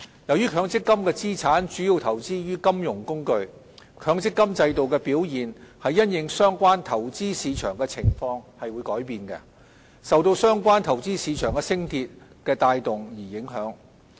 由於強積金資產主要投資於金融工具，強積金制度的表現因應相關投資市場的情況而改變，受到相關投資市場的升跌所帶動。